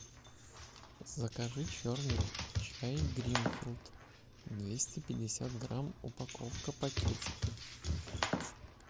закажи черный чай гринфилд двести пятьдесят грамм упаковка пакетики